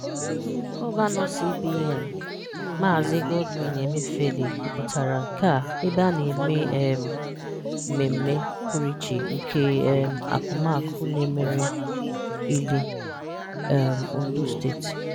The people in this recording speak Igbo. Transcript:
Gọvanọ CBN Mz. Godwin Emefiele kwupụtara nkea ebe a na-eme um mmeme pụrụ iche nke um akụmakụ n'Emere-Ile, um Ondo Steeti.